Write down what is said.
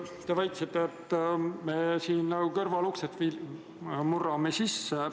Te väitsite, et me siin nagu kõrvaluksest murrame sisse.